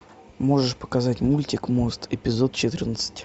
можешь показать мультик мост эпизод четырнадцать